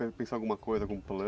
Pensou em alguma coisa, algum